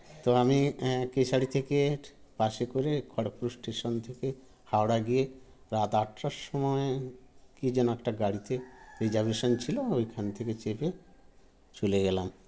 তো আমি এ কেশারি থেকে bus -এ করে খড়গপুর station থেকে হাওড়া গিয়ে রাত আটটার সময় কি যেন একটা গাড়িতে reservation ছিল ঐখান থেকে চেপে চলে গেলাম